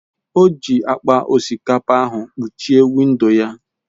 O ji akpa osikapa ahụ kpuchie windo ya.